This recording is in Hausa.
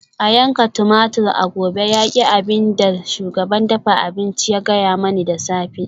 A yanka tumatur a gobe yaki abin da shugaban dafa abinci ya gaya mani da safe